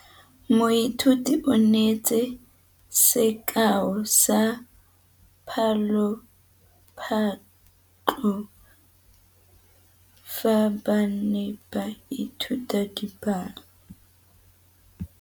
Moithuti o neetse sekaô sa palophatlo fa ba ne ba ithuta dipalo.